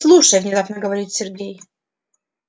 слушай внезапно говорит сергей